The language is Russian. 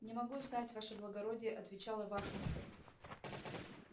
не могу знать ваше благородие отвечала вахмистр